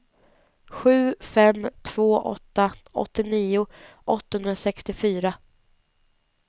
sju fem två åtta åttionio åttahundrasextiofyra